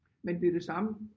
Men det det samme